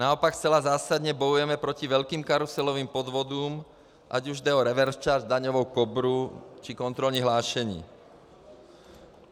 Naopak, zcela zásadně bojujeme proti velkým karuselovým podvodům, ať už jde o reverse charge, daňovou Kobru, či kontrolní hlášení.